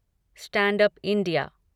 stand up India